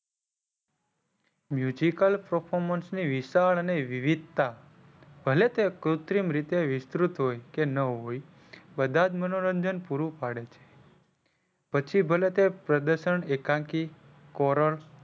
Musical performance ની વિશાલ અને વિવિધતા ભલે કે કૃતિમ રીતે વિસ્તૃત હોય કે ના હોય બધા જ મનોરંજન પૂરું પાડે છે. પછી ભલે તે પ્રદર્શન એકાંકિત કોરોર,